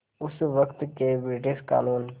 उस वक़्त के ब्रिटिश क़ानून